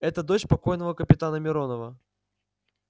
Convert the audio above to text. это дочь покойного капитана миронова